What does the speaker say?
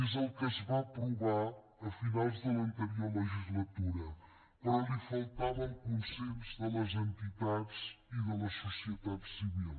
és el que es va aprovar a finals de l’anterior legislatura però li faltava el consens de les entitats i de la societat civil